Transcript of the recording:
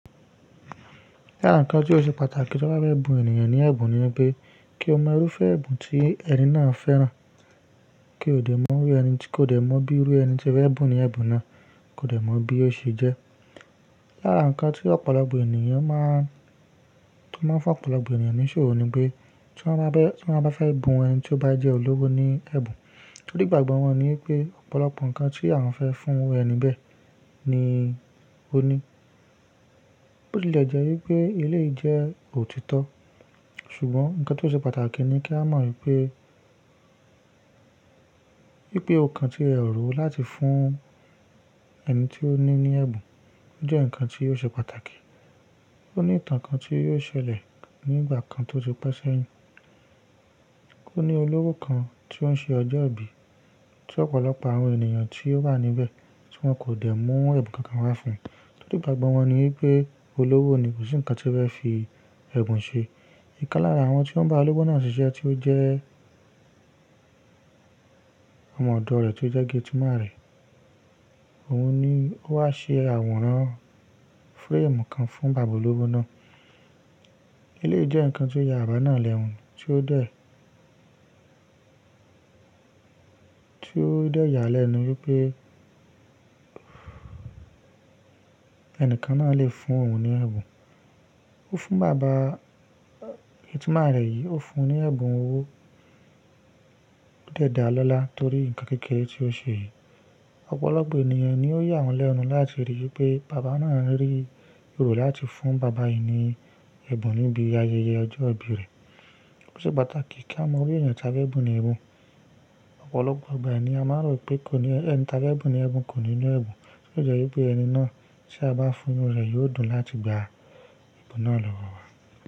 Lára ǹkan tí ó ṣe pàtàkì tí ọ́ bá fẹ́ bu ènìyàn ní ẹ̀bùn ni pé kí ó mọ irúfẹ́ ẹ̀bùn tí ẹni náà fẹ́ràn. Kí kò dẹ̀ mọ bí irú ẹni tí wọ́n fẹ́ bu ní ẹ̀bùn náà, kò dẹ̀ mọ bí ó ṣe jẹ́. Lára ǹkan tí ọ̀pọ̀lọpọ̀ ènìyàn máa ń fún ọ̀pọ̀lọpọ̀ ènìyàn níṣòrò ni pé tí wọ́n bá fẹ́ bu ẹni tí ó bá jẹ́ olówó ní ẹ̀bùn, tórì igbàgbọ́ wọn ni pé ọ̀pọ̀lọpọ̀ ǹkan tí a fẹ́ fún ẹni bẹ́ẹ̀ ni ó ní. Ó tilè jẹ́ wípé eléyìí jẹ́ òtítọ́ ṣùgbọ́n ǹkan tí ó ṣe pàtàkì ni kí a mọ wípé, wípé o kan tí ẹ rò láti fún ẹni tí ó ní ní ẹ̀bùn o jẹ́ ǹkan tí ò ṣe pàtàkì. Ó ní ìtàn kan tí yóò ṣẹlẹ̀ ní ìgbà kan tó ti pẹ́ sẹ́yìn. Ó ní olówó kan tí ó ń ṣe ọjọ́ ìbí tí ọ̀pọ̀lọpọ̀ àwọn ènìyàn tí ó wà níbẹ̀ tí wọ́n kò dẹ̀ mú ẹ̀bùn kankan wá fún un. Torí igbàgbọ́ wọn ni wípé olówó ni, kò sí ǹkan tí ó fẹ́ fi ẹ̀bùn ṣe. Ìkán lára àwọn tí ó ń bá olówó náà ṣiṣẹ́ tí ó jẹ́ ọmọ ọ̀dọ̀ rẹ̀ tí ó jẹ́ gétìmán rẹ̀ òun ni ó wá ṣe àwòrán fúrẹ́ẹ̀mù kan fún bàbá olówó náà. Eléyìí jẹ́ ǹkan tí ó ya àbá náà lẹ́nu tí ó dẹ̀ yà á lẹ́nu wípé ẹni kan náà lè fún òun ní ẹ̀bùn. Ó fún bàbá gétìmán rẹ̀ yìí, ó fún un ní ẹ̀bùn owó o dẹ da lọ́lá torí ǹkan kékeré tí ó ṣe yìí. Ọ̀pọ̀lọpọ̀ ènìyàn ni ó yà wọ́n lẹ́nu láti rí wípé bàbá náà rí rò láti fún bàbá yìí ní ẹ̀bùn níbi ayẹyẹ ọjọ́ ìbí rẹ̀. Ó ṣe pàtàkì kí a mọ bí ènìyàn tí a bá ẹ̀bùn ní ẹ̀bùn. Ọ̀pọ̀lọpọ̀ ìgbà ni ènìyàn máa rò pé ẹni tí a fe bùn ní ẹ̀bùn kò ní lo ẹ̀bùn, tí ó de jẹ́ wípé ẹni náà tí a bá fún inu rẹ̀ yóò dùn láti gba ẹ̀bùn náà lọ́wọ́ wa.